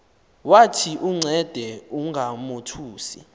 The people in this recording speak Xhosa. wathi uncede ungamothusi